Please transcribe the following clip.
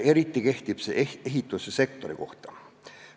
Eriti kehtib see ehitussektori kohta.